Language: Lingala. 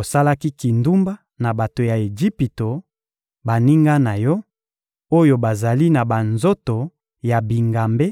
Osalaki kindumba na bato ya Ejipito, baninga na yo, oyo bazali na banzoto ya bingambe;